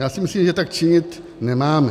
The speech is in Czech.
Já si myslím, že tak činit nemáme.